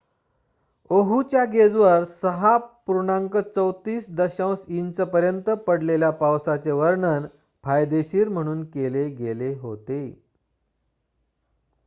"ओहूच्या गेजवर 6.34 इंचपर्यंत पडलेल्या पावसाचे वर्णन "फायदेशीर" म्हणून केले गेले होते.